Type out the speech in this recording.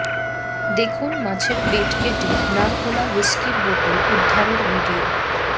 দেখুন মাছের পেট কেটে না খোলা হুইস্কির বোতল উদ্ধারের ভিডিয়ো